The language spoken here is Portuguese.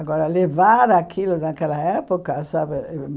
Agora, levar aquilo naquela época, sabe?